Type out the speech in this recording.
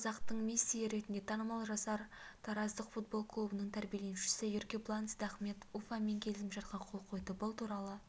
қазақтың мессиі ретінде танымал жасар тараздық футбол клубының тәрбиеленушісі еркебулан сейдахмет уфамен келісімшартқа қол қойды бұл туралы